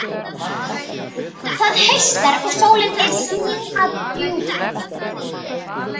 Það haustar, og sólin er sigin að djúpi.